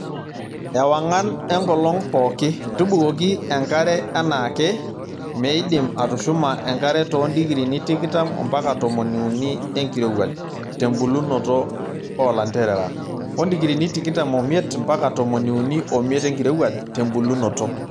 Ewang'an enkolong' pooki:Tubukoki enkare enaake, meidim atushuma enkare too ndikirini tikitam ompaka tomoni uni enkirowuaj(tembulunoto olanterera) oo ndikirini tikitam omiet ompaka tomoni uni omiet enkirowuaj (tembulunoto)